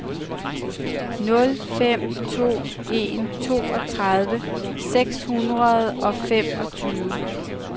nul fem to en toogtredive seks hundrede og femogtyve